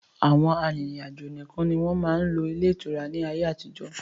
Àwọn arìnrìn-àjò nìkan ni wọn máa ń lò ilé ìtura ni ayé àtijọ́